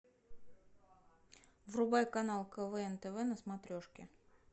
врубай канал квн тв на смотрешке